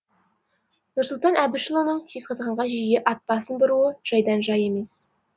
нұрсұлтан әбішұлының жезқазғанға жиі ат басын бұруы жайдан жай емес